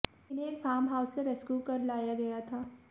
इन्हें एक farm house से रेस्क्यू कर लाया गया था